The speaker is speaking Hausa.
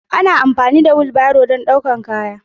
Ana amfani da wilbaro don ɗaukar kaya.